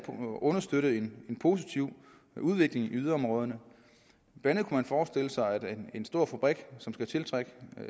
understøtte en positiv udvikling i yderområderne man kunne forestille sig en stor fabrik som skal tiltrække